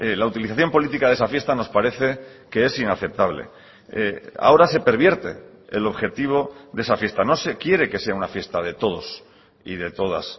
la utilización política de esa fiesta nos parece que es inaceptable ahora se pervierte el objetivo de esa fiesta no se quiere que sea una fiesta de todos y de todas